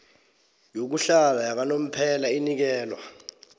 yokuhlala yakanomphela inikelwa